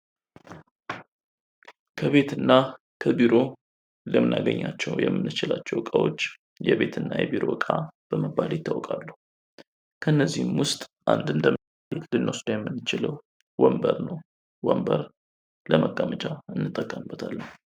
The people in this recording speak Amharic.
ከቤትና ከቢሮ ልናገኛቸዉ የምንችላቸው እቃዎች የቤትና የቢሮ ዕቃ በመባል ይታወቃሉ። ከነዚህም ውስጥ እንደ ምሳሌነት ልንወስድ የምንችለው ወንበርን ነው። ወንበር ለመቀመጪ መጠቀምበታለን።